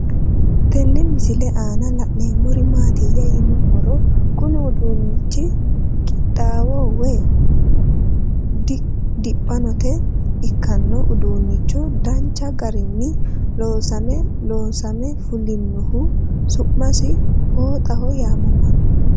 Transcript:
Tenne misile aanna la'neemmori maattiya yinummoro kunni uduunnichi qiidaho woy diphannotte ikkanno uduuncho danchu garinni loonseenna loosamme fulinnohu su'masi fooxxaho yaamamanno.